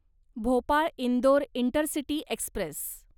Bhopal Indore intercity Express